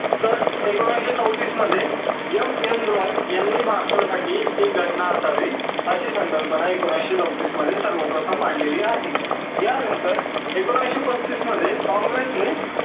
तर एकोणविसशे चौतीस मध्ये M N Roy यांनी भारतासाठी ते घटना असावी अशी संकल्पना एकोणविसशे चौतीस मध्ये सर्वप्रथम मांडलेली आहे त्या नंतर एकोणविसशे पस्तीस मध्ये काँग्रेस ने